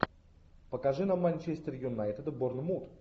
покажи нам манчестер юнайтед борнмут